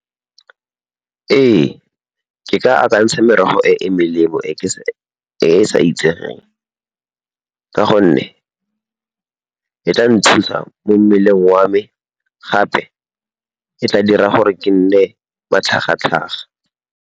Ee, ke ka akantsha merogo e e melemo e e sa itsegeng ka gonne e tla nthusa mo mmeleng wa me gape, e tla dira gore ke nne matlhagatlhaga.